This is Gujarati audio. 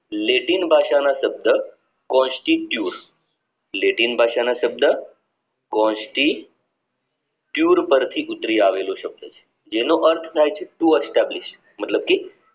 લેટિન ભાષાનો શબ્દ constitude લેટિન ભાષાનો શબ્દ constitude પરથી ઉતારી આવેલો શબ્દ છે જેનો અર્થ થાય છે too establish મતલબ કે